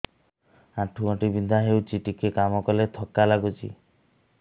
ଆଣ୍ଠୁ ଗଣ୍ଠି ବିନ୍ଧା ହେଉଛି ଟିକେ କାମ କଲେ ଥକ୍କା ଲାଗୁଚି